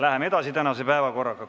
Läheme tänase päevakorraga edasi.